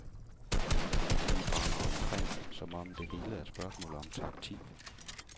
Politiet render omkring, som om det hele er et spørgsmål om taktik.